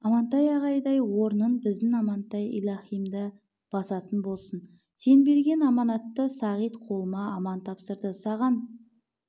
амантай ағайдың орнын біздің амантай илаһимда басатын болсын сен берген аманатты сағит қолыма аман тапсырды саған